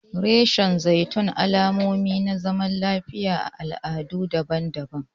Reshen zaitun alamomin zaman lafiya ne a al'adu daban-daban.